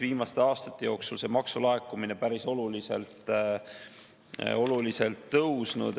Viimaste aastate jooksul on maksulaekumine sealt päris oluliselt tõusnud.